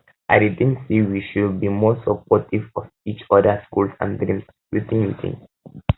i dey um think say we should um be more supportive of each odas goals and dreams wetin you think